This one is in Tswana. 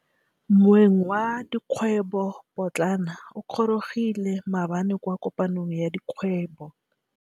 Moêng wa dikgwêbô pôtlana o gorogile maabane kwa kopanong ya dikgwêbô.